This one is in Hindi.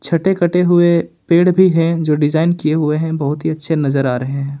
छठे कटे हुए पेड़ भी हैं जो डिजाइन किए हुए हैं बहुत ही अच्छे नजर आ रहे हैं।